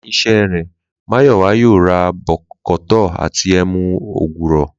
Léyìn is̩é̩ rè̩, Máyò̩wá yóò ra bò̩kò̩tó̩ àti e̩mu ògùrò̩